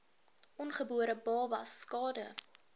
ongebore babas skade